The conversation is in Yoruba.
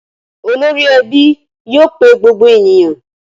Olórí ẹbí yóò pe gbogbo ènìyàn.